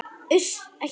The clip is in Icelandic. Uss, ekki gráta.